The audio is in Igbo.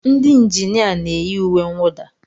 Ndị injinia na-eyi uwe mwụda.